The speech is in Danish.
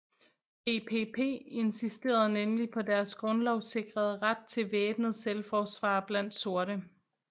BPP insisterede nemlig på deres grundlovssikrede ret til væbnet selvforsvar blandt sorte